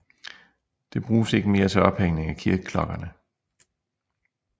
Det bruges ikke mere til ophængning af kirkeklokkerne